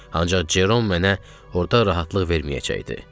Ancaq Cerom mənə orda rahatlıq verməyəcəkdi.